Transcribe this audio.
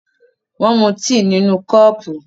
Wọ́n mú tíì nínú kọ́ọ́pù.